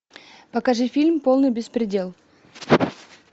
покажи фильм полный беспредел